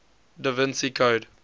da vinci code